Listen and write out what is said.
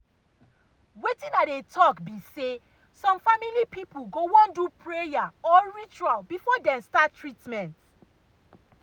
wetin i dey talk be say some family people go wan do prayer or ritual before dem start treatment.